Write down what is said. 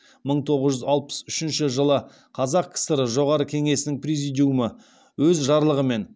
мың тоғыз жүз алпыс үшінші жылы қазақ кср жоғарғы кеңесінің президиумы өз жарлығымен